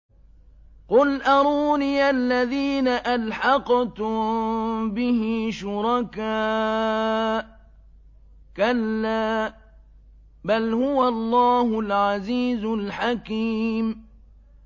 قُلْ أَرُونِيَ الَّذِينَ أَلْحَقْتُم بِهِ شُرَكَاءَ ۖ كَلَّا ۚ بَلْ هُوَ اللَّهُ الْعَزِيزُ الْحَكِيمُ